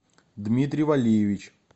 дмитрий валиевич